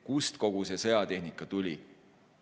Kust kogu see sõjatehnika tuli?